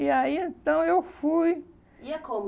E aí, então, eu fui... Ia como?